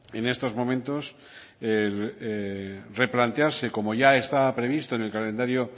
en estos momentos replantearse como ya estaba previsto en el calendario